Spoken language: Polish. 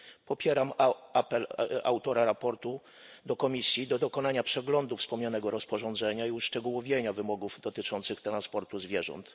Popieram apel autora raportu do Komisji o dokonanie przeglądu wspomnianego rozporządzenia i uszczegółowienie wymogów dotyczących transportu zwierząt.